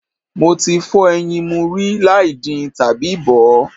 Mo ti fọ́ ẹyin mu rí láì din tàbí bọ̀ ọ́.